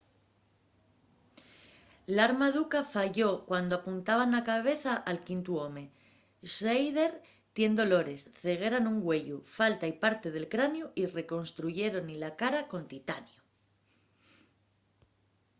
l'arma d'uka falló cuando apuntaba na cabeza al quintu home schneider tien dolores ceguera nun güeyu fálta-y parte del craniu y reconstruyéron-y la cara con titaniu